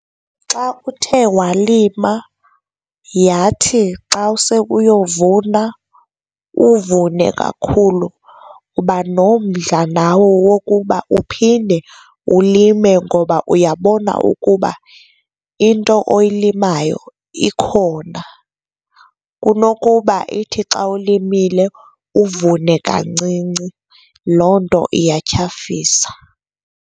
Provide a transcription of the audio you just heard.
Xa uthe walima yathi xa use uyovuna uvune kakhulu uba nomdla nawe wokuba uphinde ulime ngoba uyabona ukuba into oyilimayo ikhona, kunokuba ithi xa ulimile uvune kancinci, loo nto iyathyafisa.